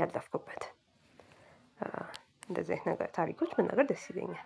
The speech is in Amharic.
ያለፍኩበትን እንደዚህ አይነት ታሪኮች መናገር ደስይለኛል።